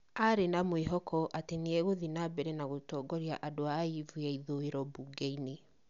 arĩ na mwĩhoko atĩ nĩ egũthiĩ na mbere na gũtongoria andũ a Ayivu ya ithũũĩro mbunge-inĩ.